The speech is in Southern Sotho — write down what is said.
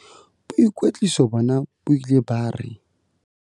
"Boikwetliso bona bo ile ba re".